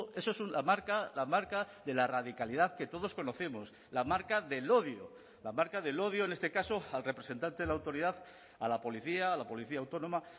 eso es una marca la marca de la radicalidad que todos conocemos la marca del odio la marca del odio en este caso al representante de la autoridad a la policía a la policía autónoma